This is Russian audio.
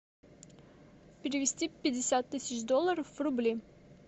перевести пятьдесят тысяч долларов в рубли